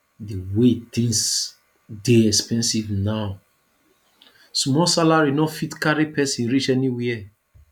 di way tins dey expensive now small salary no fit carry pesin reach anywhere